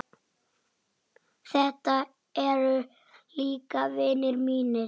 Þetta eru líka vinir mínir.